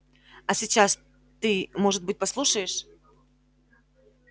а сейчас ты может быть послушаешь